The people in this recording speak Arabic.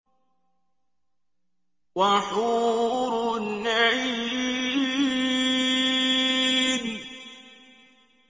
وَحُورٌ عِينٌ